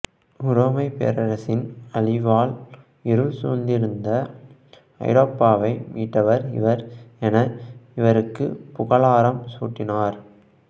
உரோமைப் பேரரசின் அழிவால் இருள் சூழ்ந்திருந்த ஐரோபாவை மீட்டவர் இவர் என இவருக்கு புகழாரம் சூட்டினார்